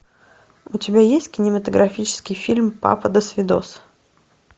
у тебя есть кинематографический фильм папа досвидос